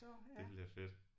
Det bliver fedt